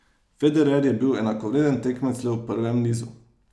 Federer je bil enakovreden tekmec le v prvem nizu.